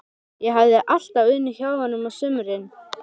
Ég hafði alltaf unnið hjá honum á sumrin.